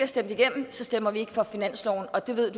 stemt igennem stemmer vi ikke for finansloven og det ved